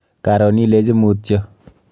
Karon ilechi mutyo.